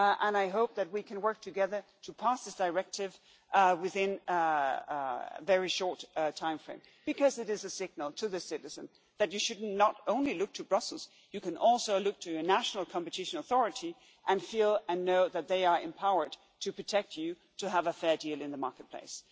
I hope that we can work together to pass this directive within a very short timeframe because it is a signal to citizens that you should not only look to Brussels, but you can also look to your national competition authority and know that they are empowered to protect you in order to have a fair deal in the marketplace.